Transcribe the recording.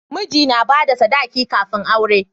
Miji na bada sadaki kafin aure